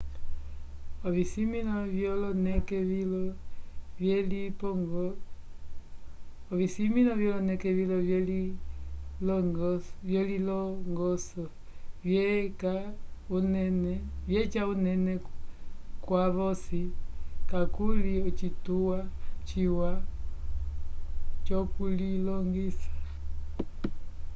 ovisimĩlo vyoloneke vilo vyelilongoso vyeca unene kwavosi kakuli ocituwa ciwa c'okulilongisa